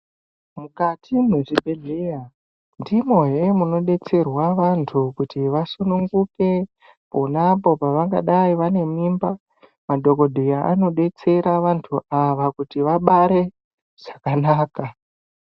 Mukati mwezvibhehleya ndimohe munodetserwa vantu kuti vasununguke ponapo pavangadai vane mimba. Madhokodheya anodetsera vantu ava kuti vabare zvakanaka.